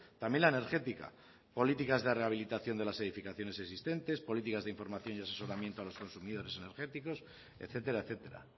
también la energética políticas de rehabilitación de las edificaciones existentes políticas de información y asesoramiento a los consumidores energéticos etcétera etcétera